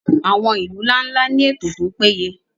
àwọn ilu nla-nla ni eto to peye